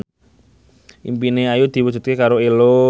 impine Ayu diwujudke karo Ello